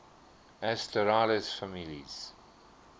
asterales families